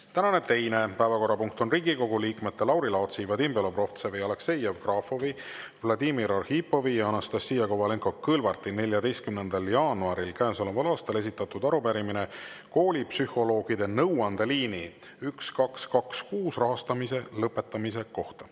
Tänane teine päevakorrapunkt on Riigikogu liikmete Lauri Laatsi, Vadim Belobrovtsevi, Aleksei Jevgrafovi, Vladimir Arhipovi ja Anastassia Kovalenko-Kõlvarti 14. jaanuaril käesoleval aastal esitatud arupärimine koolipsühholoogide nõuandeliini 1226 rahastamise lõpetamise kohta.